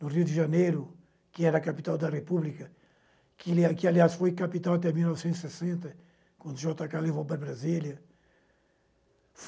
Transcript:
no Rio de Janeiro, que era a capital da república, que, ali aliás, foi capital até mil novecentos e sessenta, quando o jota cá levou para Brasília.